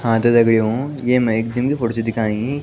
हाँ त दगड़ियों येमा एक जिम की फोटो च दिख्याणी।